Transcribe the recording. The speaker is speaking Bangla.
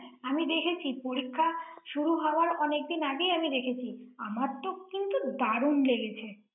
আমি দেখেছি, পরীক্ষা শুরু হওয়ার অনেকদিন আগেই আমি দেখেছি। আমার তো কিন্তু দারুণ লেগেছে ৷